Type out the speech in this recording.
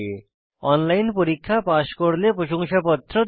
online পরীক্ষা pass করলে প্রশংসাপত্র দেয়